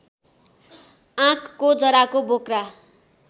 आँकको जराको बोक्रा